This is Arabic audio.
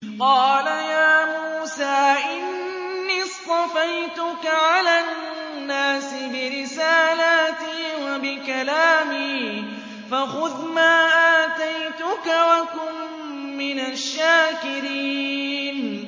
قَالَ يَا مُوسَىٰ إِنِّي اصْطَفَيْتُكَ عَلَى النَّاسِ بِرِسَالَاتِي وَبِكَلَامِي فَخُذْ مَا آتَيْتُكَ وَكُن مِّنَ الشَّاكِرِينَ